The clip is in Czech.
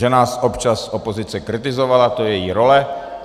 Že nás občas opozice kritizovala, to je její role.